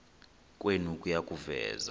kwenu kuya kuveza